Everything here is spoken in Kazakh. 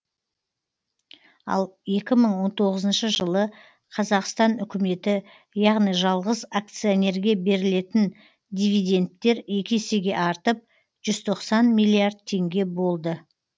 ал екі мың он тоғызыншы жылы қазақстан үкіметі яғни жалғыз акционерге берілетін дивидендтер екі есеге артып жүз тоқсан миллиард теңге болды